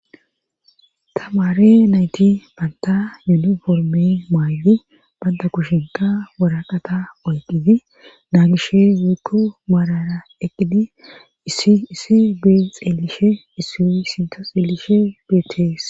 Tamaare nayti banta yuniforme mayidi banta kushinka woraqata oyqqizi naagishe.woykko maarara eqqidi issi issi xeelishe issi sinta xeelishe beetees